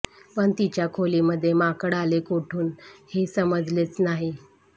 पण तिच्या खोलीमध्ये माकड आले कोठून हे समजलेच नाही